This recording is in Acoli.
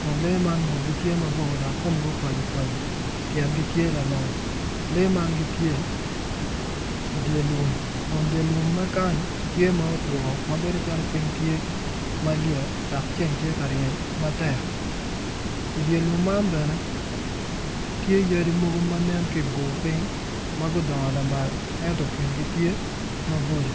kun lee ma ngutgi tye mabor dok komgi opaco opaco tyengi tye lamal lee man gitye ifye lum kun dye lum ma kany tye ma otwo ma bedo calo piny tye malyet dok ceng tye ka ryeny matek idye lum man bene tye yadi mogo manen ki bor piny ma gudongo lamal ento kingi tye maboco